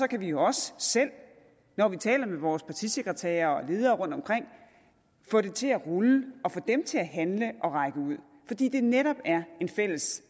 kan vi jo også selv når vi taler med vores partisekretærer og ledere rundtomkring få det til at rulle og få dem til at handle og række ud fordi det netop er en fælles